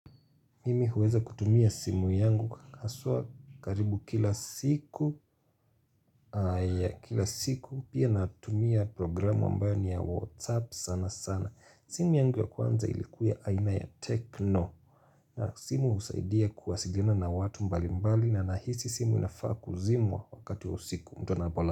Mimi huweza kutumia simu yangu haswaa karibu kila siku. Kila siku pia natumia programu ambani ya WhatsApp sana sana. Simu yangu ya kwanza ilikuwa aina ya Tekno. Simu usaidia kuwasiliana na watu mbali mbali. Na nahisi simu inafaa kuzimwa wakati wa siku mtu anapolala.